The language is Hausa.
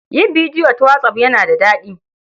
Yin bidiyo ta whatsApp yana da daɗi.